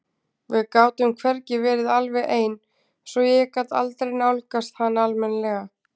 Við gátum hvergi verið alveg ein svo ég gat aldrei nálgast hana almennilega.